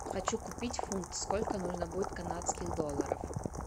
хочу купить фунт сколько нужно будет канадских долларов